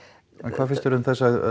hvað finnst þér um